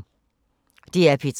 DR P3